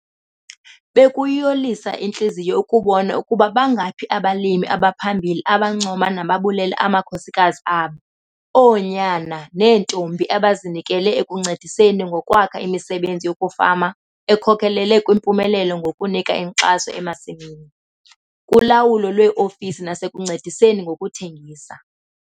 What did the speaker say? Bekuyiyolisa intliziyo ukubona ukuba bangaphi abalimi abaphambili abancoma nababulela amakhosikazi abo, oonyana neentombi abazinikele ekuncediseni ngokwakha imisebenzi yokufama ekhokelele kwimpumelelo ngokunika inkxaso emasimini, kulawulo lweofisi nasekuncediseni ngokuthengisa.